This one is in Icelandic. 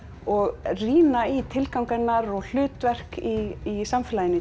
og rýna í tilgang hennar og hlutverk í samfélaginu í